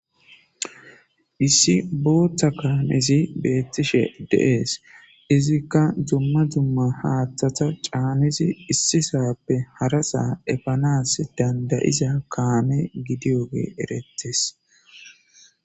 Issi booththa kaamezi beettishe deees izikka dumma zumma haaththata caanizi issi saappe harasaa efanas dandayiza kaame gidiyoge erettes